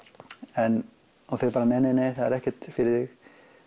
en þeir bara nei nei nei það er ekkert fyrir þig